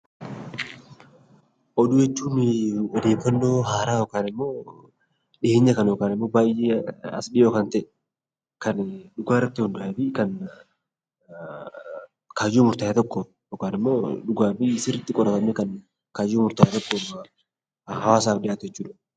Oduu jechuun odeeffannoo haaraa dhiheenya kana yookaan baayyee as dhihoo kan ta'e kan dhugaa irratti hundaa'ee fi kan kaayyoo murtaawaa tokko dhugaa fi sirriitti qoratamee kan hawaasaaf dhihaatu jechuudha.